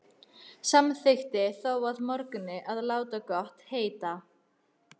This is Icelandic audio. Samþykkti þó að morgni að láta gott heita.